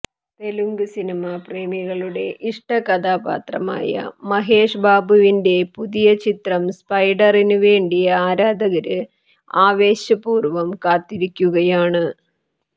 തെലുങ്ക് സിനിമ പ്രേമികളുടെ ഇഷ്ട കഥാപാത്രമായ മഹേഷ് ബാബുവിന്റെ പുതിയ ചിത്രം സ്പൈഡറിന് വേണ്ടി ആരാധകര് ആവേശ പൂര്വ്വം കാത്തിരിക്കുകയാണ്